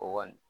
O kɔni